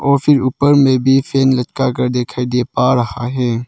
और फिर ऊपर में भी फेन लटका कर दिखाई दे पा रहा है।